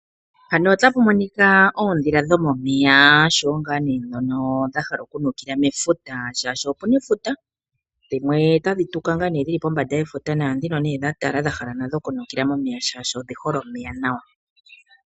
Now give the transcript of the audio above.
Mpano otapu monika oodhila dhomeya oshowo ngaa nee dhono dha hala oku nukila mefuta shaa shono opena efuta. Dhimwe tadhi tuka ngaa nee dhili pombanda yefuta. Naadhino nee dhatala dha hala oku nukila momeya shaashi odhihole omeya nawa.